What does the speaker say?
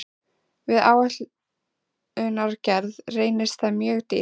Við áætlunargerð reynist það mjög dýrt.